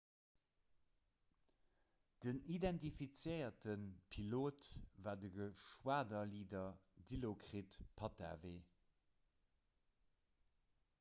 den identifizéierte pilot war de geschwaderleader dilokrit pattavee